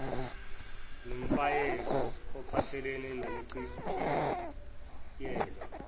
nomyalelo ophathelene nokuchitshiyelwa